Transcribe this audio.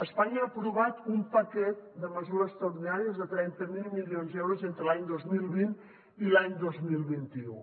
espanya ha aprovat un paquet de mesures extraordinàries de trenta miler milions d’euros entre l’any dos mil vint i l’any dos mil vint u